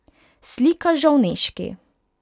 Slika Žovneški.